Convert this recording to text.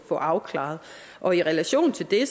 få afklaret og i relation til det